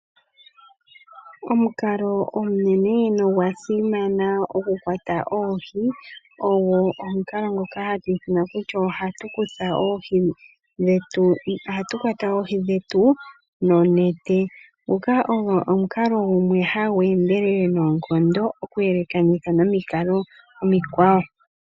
Omukalo omunene nogwa simana oku kwata oohi ogo omukalo ngoka hatu ithana kutya ohatu kwata oohi dhetu noonete, nguka ogo omukalo gumwe hagu endelele noonkondo oku yelekanitha nomikalo omikwawo.